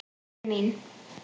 Elskan mín.